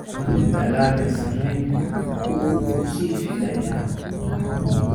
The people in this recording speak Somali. Dalagga sarreenku wuu sii fidayaa.